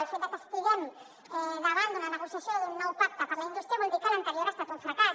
el fet de que estiguem davant d’una negociació d’un nou pacte per a la indústria vol dir que l’anterior ha estat un fracàs